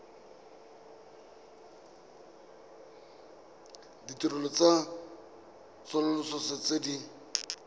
ditirelo tsa tsosoloso tse di